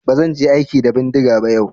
Ba zan je aiki da bindiga ba yau.